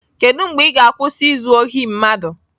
Kedu mgbe ị ga-akwụsị izu ohi mmadụ?